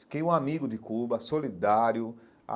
Fiquei um amigo de Cuba, solidário.